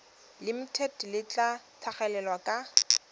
limited le tla tlhagelela kwa